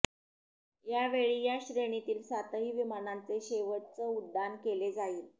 यावेळी या श्रेणीतील सातही विमानांचे शेवटच उड्डाण केले जाईल